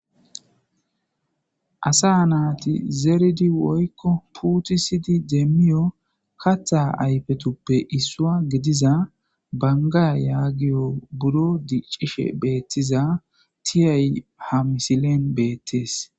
asa naati zeridi woykko putisidi deemmiyo katha ayfetuppe issuwa gidiza bangaa yaagiyo buro dicishe beettiza tiyay ha misilen beettees